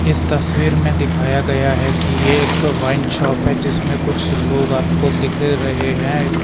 इस तस्वीर में दिखाया गया है कि ये एक वाइन शॉप है जिसमें कुछ लोग आपको दिख रहे हैं।